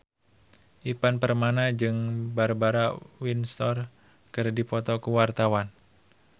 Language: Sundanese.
Ivan Permana jeung Barbara Windsor keur dipoto ku wartawan